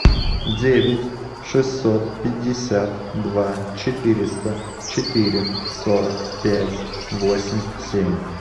девять шестьсот пятьдесят два четыреста четыре сорок пять восемь семь